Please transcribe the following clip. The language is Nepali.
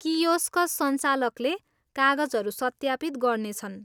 कियोस्क संचालकले कागजहरू सत्यापित गर्नेछन्।